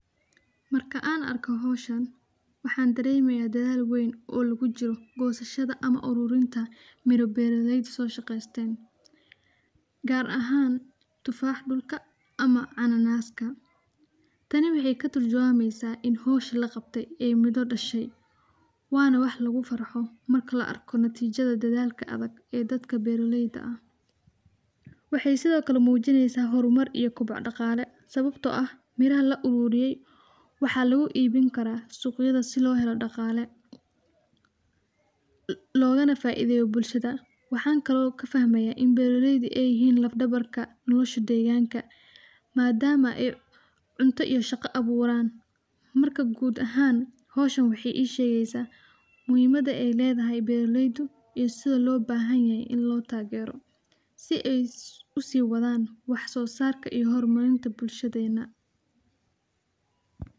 Mrka an arko howshan wexey ixasusia daldalka lugujiro miro beraleyda ama gosashada dirta marka tifaxa ma cananaska oo katurjumeysa dadalka beraleyda wana wax lugufarxo marki laarko. Wexey sido kale koor uqadeysa suqa bulshada waxa kalo fahamaya in beraleyda yihin laf dabarka bulsdhada madama ey cunta iyo shaqo aburan marka howshan wexey ishegeysa muhimada beraleyda iyo sida lotarilaha madam ey sosar ween kuleyihin bulshada.